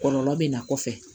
Kɔlɔlɔ bɛ na kɔfɛ